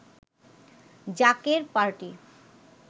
জাকের পাটি